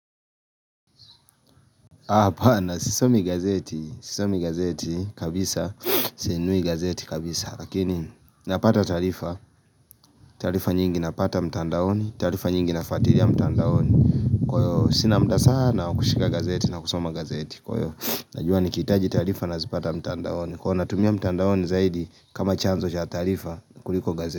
Hapana sisomi gazeti, sisomi gazeti kabisa, sinunui gazeti kabisa, lakini napata taarifa, taarifa nyingi napata mtandaoni, taarifa nyingi na fuatilia mtandaoni Kwa hiyo sina muda sana kushika gazeti na kusoma gazeti, kwa hiyo najua nikiitaji taarifa nazipata mtandaoni, kuwa natumia mtandaoni zaidi kama chanzo cha taarifa kuliko gazeti.